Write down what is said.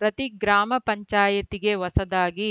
ಪ್ರತಿ ಗ್ರಾಮ ಪಂಚಾಯಿತಿಗೆ ಹೊಸದಾಗಿ